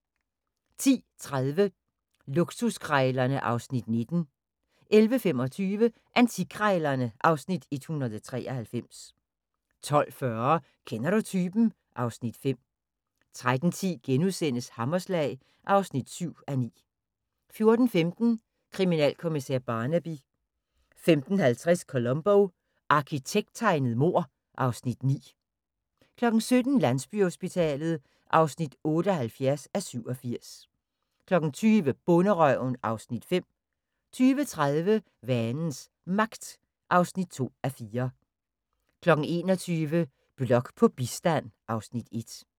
10:30: Luksuskrejlerne (Afs. 19) 11:25: Antikkrejlerne (Afs. 193) 12:40: Kender du typen? (Afs. 5) 13:10: Hammerslag (7:9)* 14:15: Kriminalkommissær Barnaby 15:50: Columbo: Arkitekttegnet mord (Afs. 9) 17:00: Landsbyhospitalet (78:87) 20:00: Bonderøven (Afs. 5) 20:30: Vanens Magt (2:4) 21:00: Blok på bistand (Afs. 1)